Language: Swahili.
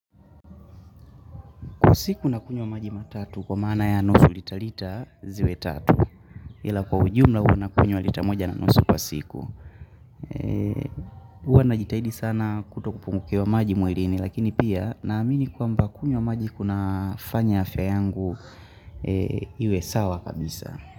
Kwa siku nakunywa maji matatu kwa maana ya nusu lita lita ziwe tatu. Ila kwa ujumla huu nakunywa lita moja na nusu kwa siku. Huwa najitahidi sana kutokupungukiwa maji mwilini lakini pia naamini kwamba kunywa maji kunafanya afya yangu iwe sawa kabisa.